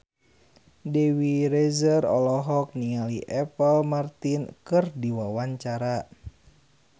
Dewi Rezer olohok ningali Apple Martin keur diwawancara